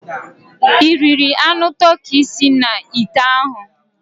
Ị riri anụ toki si n'ite ahụ?